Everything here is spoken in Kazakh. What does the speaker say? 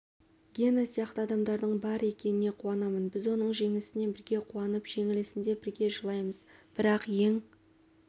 гена сияқты адамдардың бар екеніне қуанамын біз оның жеңісіне бірге қуанып жеңілісінде бірге жылаймыз бірақ ең